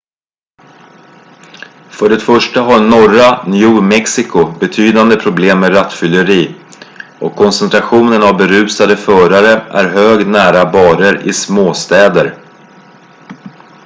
för det första har norra new mexico betydande problem med rattfylleri och koncentrationen av berusade förare är hög nära barer i små städer